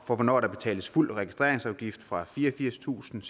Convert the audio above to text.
for hvornår der betales fuld registreringsafgift nemlig fra fireogfirstusinde